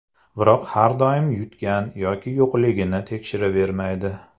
Biroq har doim yutgan yoki yo‘qligini tekshiravermaydi.